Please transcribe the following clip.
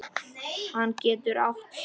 Hann getur átt sig.